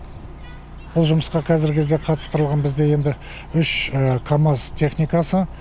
бұл жұмысқа қазіргі кезде қатыстырылған бізде енді үш камаз техникасы